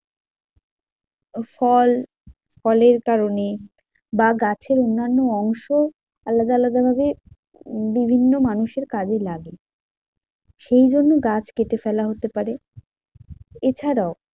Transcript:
ফল ফলের কারণে বা গাছের অন্যান্য অংশ আলাদা আলাদা ভাবে বিভিন্ন মানুষের কাজে লাগে, সেই জন্য গাছ কেটে ফেলা হতে পারে। এছাড়াও